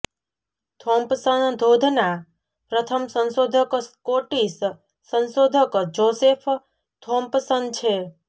Thompson ધોધના પ્રથમ સંશોધક સ્કોટિશ સંશોધક જોસેફ થોમ્પસન છે